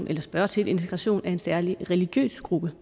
kan spørge til integration af en særlig religiøs gruppe